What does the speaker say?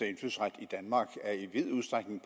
indfødsret i danmark i vid udstrækning